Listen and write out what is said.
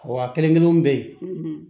Wa kelen kelenw be yen